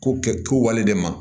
Ko kɛ kowale de ma